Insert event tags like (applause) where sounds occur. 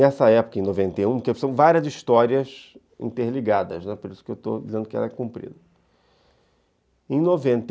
Nessa época, em noventa e um, porque são várias histórias interligadas, né, por isso que eu estou dizendo que ela é comprida, em noventa e (unintelligible)